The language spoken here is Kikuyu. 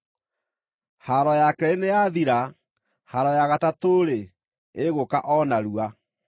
Haaro ya keerĩ nĩyathira, haaro ya gatatũ-rĩ, ĩgũũka o narua.